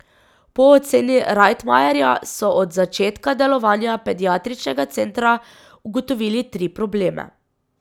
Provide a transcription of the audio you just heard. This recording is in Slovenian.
Po oceni Rajtmajerja so od začetka delovanja pediatričnega centra ugotovili tri probleme.